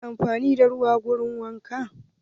Ana amfani da ruwa wurin wanka.